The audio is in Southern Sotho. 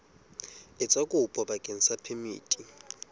etsa kopo bakeng sa phemiti